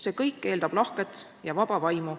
See kõik eeldab lahket ja vaba vaimu.